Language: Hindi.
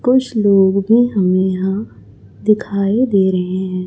कुछ लोग भी हमे यहां दिखाई दे रहे हैं।